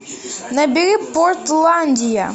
набери портландия